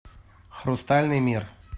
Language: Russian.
хрустальный мир